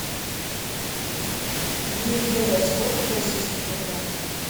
две евро сколько в российских рублях